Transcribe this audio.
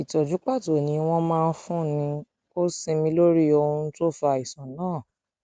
ìtọjú pàtó ni wọn máa ń fúnni ó sinmi lórí ohun tó fa àìsàn náà